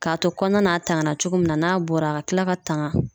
K'a to kɔnɔna n'a tanga na cogo min na n'a bɔra a ka kila ka tanga.